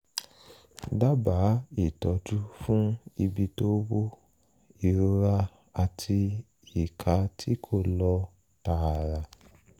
dábàá ìtọ́jú fún ibi tó wú ìrora àti ìka tí kò lọ tààrà